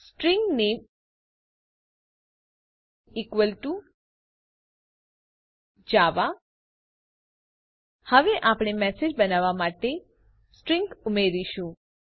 string નામે equal to Java હવે આપણે મેસેજ બનાવવા માટે સ્ટ્રિંગ્સ ઉમેરીશું